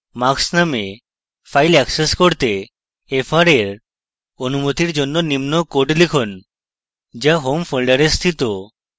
marks নামক file access করতে fr এর অনুমতীর জন্য নিম্ন code লিখুন to home folder স্থিত